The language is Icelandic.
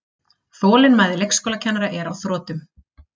Þolinmæði leikskólakennara er á þrotum